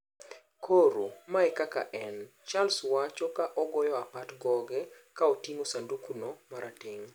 Koro, mae e kaka en',Charles wacho ka ogoyo apat goge kaoting'o sanduku no marateng'.